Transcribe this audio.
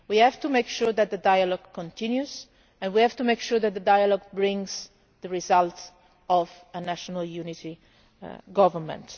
We have to make sure that the dialogue continues and we have to make sure that the dialogue brings the result of a national unity government.